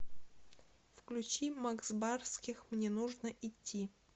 включи макс барских мне нужно идти